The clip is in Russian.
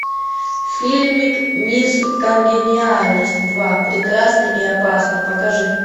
фильмик мисс конгениальность два прекрасна и опасна покажи